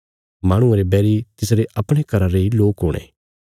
माहणुये रे बैरी तिसरे अपणे घरा रेई लोक हुणे